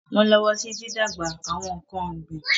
Wọ́n lọ́wọ́ sí dídàgbà àwọn nǹkan ọ̀gbìn.